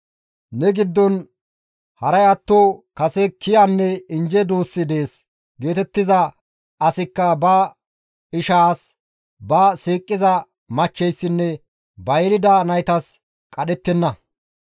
Ne giddon haray atto kase kiyanne injje duussi dees geetettiza asikka ba ishaas, ba siiqiza machcheyssinne ba yelida naytas qadhettenna.